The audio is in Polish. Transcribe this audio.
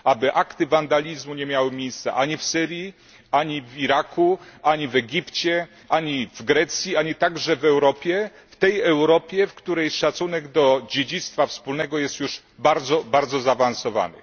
Aby akty wandalizmu nie miały miejsca ani w Syrii, ani w Iraku, ani w Egipcie, ani w Grecji, ani także w Europie w tej Europie, w której szacunek do dziedzictwa wspólnego jest już bardzo zaawansowany.